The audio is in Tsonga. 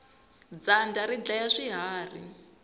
dyandza ri dlaya swiharhi